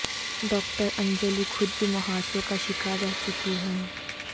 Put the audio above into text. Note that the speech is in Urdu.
ڈاکٹر انجلی خود بھی مہاسوں کا شکار رہ چکی ہیں